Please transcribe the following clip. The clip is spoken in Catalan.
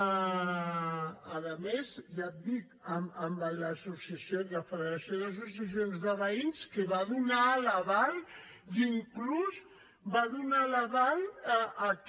a més ja et dic amb la federació d’associacions de veïns que va donar l’aval i inclús va donar l’aval a que